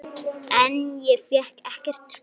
En ég fékk ekkert svar.